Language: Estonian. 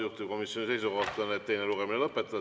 Juhtivkomisjoni seisukoht on, et teine lugemine tuleb lõpetada.